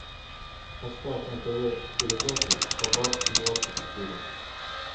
поставь на тв передачу хабар двадцать четыре